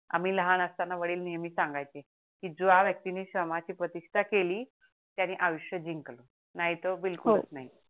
आम्ही लहान आसताणी वडील नेहमी सांगायचे की जो व्यक्तीने श्रमाची प्रतिष्ठा केली त्यांनी आयुष्य जिंकली नाही तर बिलकुल नाही हो